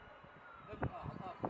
Ayva! Allah! Ayva! Ayva! Vur!